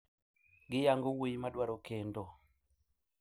Giyango wuoyi madwaro kendo